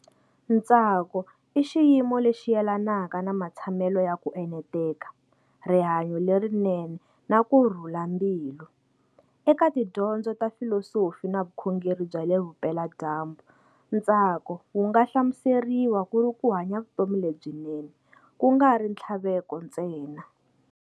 Ntsako i xiyimo lexi yelanaka na matshamelo ya ku eneteka, rihanyo lerinene na kurhula mbilu. Eka tidyondzo to filosofi na vukhongeri bya le vupela dyambu, ntsako wunga hlamuseriwa kuri kuhanya vutomi lebyinene, kungari nthlaveko ntsena.